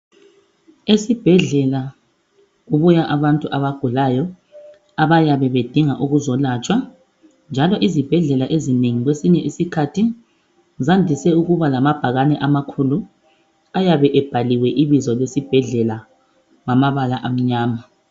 Esibhedlela kubuya abantu abagulayo abayabe bedinga ukuzo latshwa njalo izibhedlela ezinengi kwesinye isikhathi zandise ukuba lamabhakane amakhulu ayabe ebhaliwe ibizo lesibhedlela ngamabala anmyama.